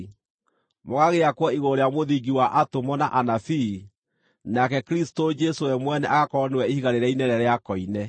mũgagĩakwo igũrũ rĩa mũthingi wa atũmwo na anabii, nake Kristũ Jesũ we mwene agakorwo nĩwe ihiga rĩrĩa inene rĩa koine.